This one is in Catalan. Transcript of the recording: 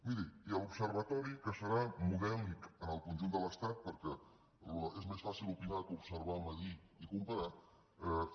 miri i l’observatori que serà modèlic en el conjunt de l’estat perquè és més fàcil opinar que observar mesurar i comparar